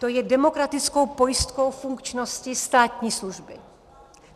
To je demokratickou pojistkou funkčnosti státní služby.